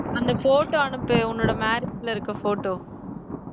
அந்த photo அனுப்பு உன்னோட marriage ல இருக்க photo